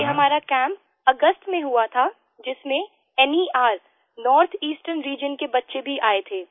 ये हमारा कैम्प अगस्त में हुआ था जिसमें nerनॉर्थ ईस्टर्न रीजियन के बच्चे भी आये थे